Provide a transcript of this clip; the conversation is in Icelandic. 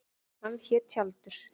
Hann hét Tjaldur.